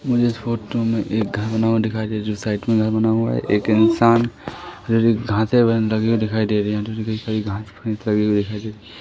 मुझे इस फोटो में एक घर बना हुआ दिखाइ दे जो साइड में घर बना हुआ है एक इंसान हरी-हरी घासे हुए अंदर कि ओर दिखाई दे रही --